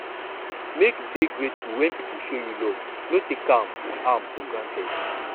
make you dey grateful when people show you love no take am am for granted